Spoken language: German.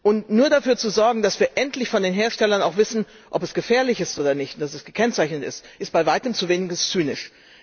Und nur dafür zu sorgen, dass wir endlich von den Herstellern auch erfahren, ob es gefährlich ist oder nicht, und dass dies gekennzeichnet ist, ist bei Weitem zu wenig, es ist zynisch.